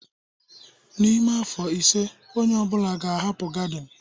N'ime afọ ise onye ọ bụla ga-ahapụ gardin